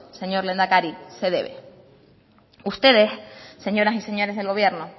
señor lehendakari se debe ustedes señoras y señores del gobierno